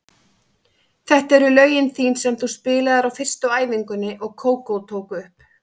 Þetta eru lögin þín sem þú spilaðir á fyrstu æfingunni og Kókó tók upp.